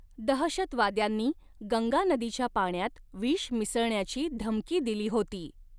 दहशतवाद्यांनी गंगा नदीच्या पाण्यात विष मिसळण्याची धमकी दिली होती.